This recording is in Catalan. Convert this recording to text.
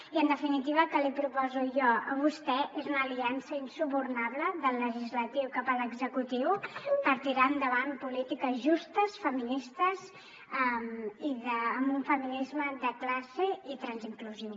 i en definitiva el que li proposo jo a vostè és una aliança insubornable del legislatiu cap a l’executiu per tirar endavant polítiques justes feministes i amb un feminisme de classe i transinclusiu